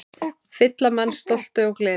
Fylla mann stolti og gleði.